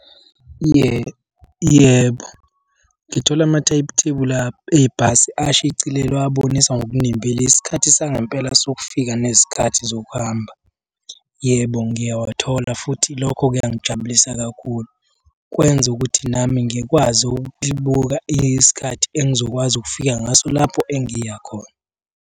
Yebo, yebo, ngithola ebhasi ashicilelwe abonisa ngokunembile isikhathi sangempela sokufika nezikhathi zokuhamba. Yebo ngiyawathola futhi lokho kuyangijabulisa kakhulu, kwenza ukuthi nami ngikwazi ukubuka isikhathi engizokwazi ukufika ngaso lapho engiya khona.